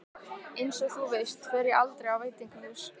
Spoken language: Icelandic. Einsog þú veist fer ég aldrei á veitingahús.